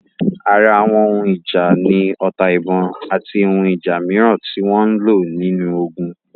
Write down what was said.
Ara Àwọn ohun ìjà ni ota-ìbọn, àti àwọn ohun ìjà mìíràn tí wọ́n lò nínú ogun.